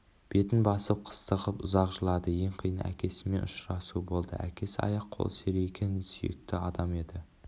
бетін басып қыстығып ұзақ жылады ең қиыны әкесімен ұшырасу болды әкесі аяқ-қолы серейген сүйекті адам еді